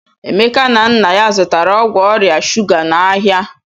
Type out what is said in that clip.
Emeka na nna ya zụtara ọgwụ ọrịa shụga n'ahịa.